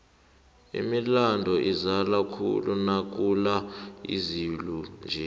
imilambo izala khulu nakuna izulu nje